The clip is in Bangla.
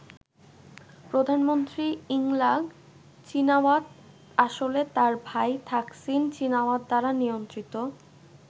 প্রধানমন্ত্রী ইংলাক চীনাওয়াত আসলে তাঁর ভাই থাকসিন চীনাওয়াত দ্বারা নিয়ন্ত্রিত।